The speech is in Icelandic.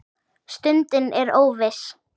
Stundin er óviss.